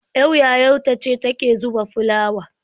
Ƴar yayar ta ce ta ke zuba fulawa.